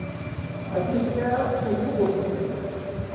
Aí, comecei a perder o gosto também.